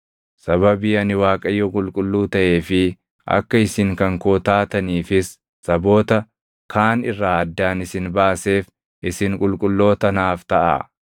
Sababii ani Waaqayyo qulqulluu taʼee fi akka isin kan koo taataniifis saboota kaan irraa addaan isin baaseef, isin qulqulloota naaf taʼaa.